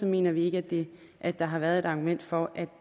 mener vi ikke at der har været et argument for at